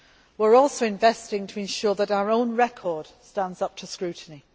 We are also investing to ensure that our own record stands up to scrutiny.